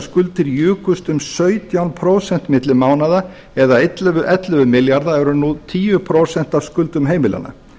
skuldir jukust um sautján prósent milli mánaða eða ellefu milljarða og eru nú tíu prósent af skuldum heimilanna